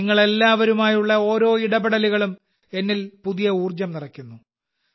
നിങ്ങൾ എല്ലാവരുമായുള്ള ഓരോ ഇടപെടലുകളും എന്നിൽ പുതിയ ഊർജ്ജം നിറയ്ക്കുന്നു